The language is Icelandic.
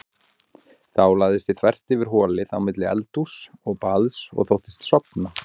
Þá lagðist ég þvert yfir holið á milli eldhúss og baðs og þóttist sofa.